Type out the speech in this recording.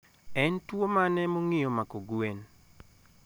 En tuwo mane mongiyo mako gwen?